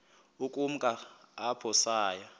ukumka apho saya